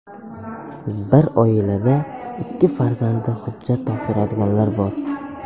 Bir oilada ikki farzandi hujjat topshiradiganlar bor.